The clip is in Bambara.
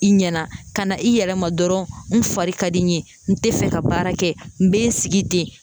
I ɲɛna ka na i yɛrɛ ma dɔrɔn n fari ka di n ye n tɛ fɛ ka baara kɛ n bɛ n sigi ten